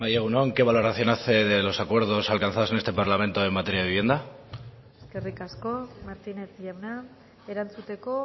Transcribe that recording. bai egun on qué valoración hace de los acuerdos alcanzados en este parlamento en materia de vivienda eskerrik asko martínez jauna erantzuteko